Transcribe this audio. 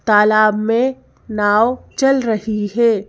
तालाब में नाव चल रही है।